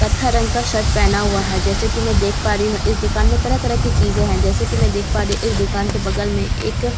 पथर रंग का शर्ट पहन हुआ है जैसा की मैं देख पा रही हूँ इस दुकान मे तरह तरह की चीजें है जैसा की मैं देख पा रही हूँ इस दुकान के बगल में एक --